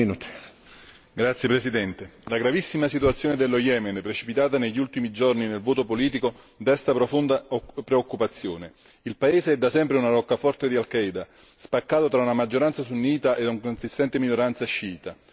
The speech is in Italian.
Signor Presidente, onorevoli colleghi, la gravissima situazione dello Yemen, precipitata negli ultimi giorni nel vuoto politico, desta profonda preoccupazione. Il paese è da sempre una roccaforte di Al Qaeda, spaccato tra una maggioranza sunnita e una consistente minoranza sciita.